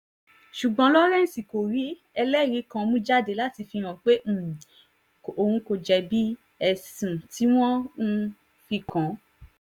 ṣùgbọ́n lawrence kò rí ẹlẹ́rìí kan mú jáde láti fihàn pé um kò jẹ̀bi ẹ̀sùn tí wọ́n um fi kàn án